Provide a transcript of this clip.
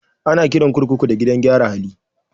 Ana kiran kurkuku da gidan gyara hali